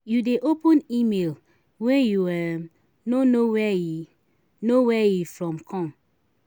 you dey open email wey you um no know where e know where e from come?